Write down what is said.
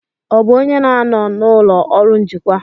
Ị bụ onye na-anọ n'ụlọ ọrụ njikwa?